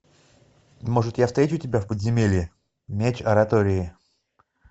может я встречу тебя в подземелье меч оратории